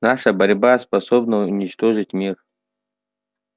наша борьба способна уничтожить мир